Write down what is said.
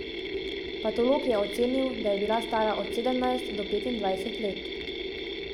Patolog je ocenil, da je bila stara od sedemnajst do petindvajset let.